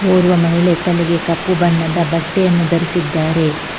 ಓರ್ವ ಮಹಿಳೆ ತಲೆಗೆ ಕಪ್ಪು ಬಣ್ಣದ ಬಟ್ಟೆಯನ್ನು ಧರಿಸಿದ್ದಾರೆ.